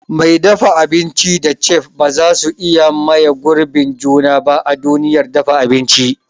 Mai dafa abinci da chef bazasu iya maye girbin juna ba a duniyar dafa abinci.